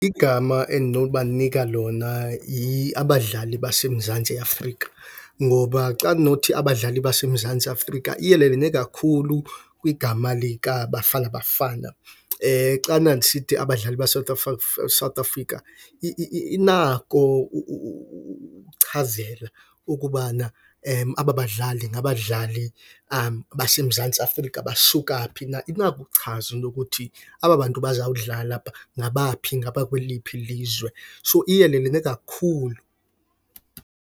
Igama endinokubanika lona yi-abadlali baseMzantsi Afrika ngoba xa kunothi abadlali baseMzantsi Afrika iyelelene kakhulu kwigama likaBafana Bafana. Xana ndisithi abadlali South Africa inako ukuchazela ukubana aba badlali ngabadlali baseMzantsi Afrika basuka phi na. Inako ukuchaza into yokuthi aba bantu bazawudlala phaa ngabaphi, ngabakweliphi ilizwe. So, iyelelene kakhulu.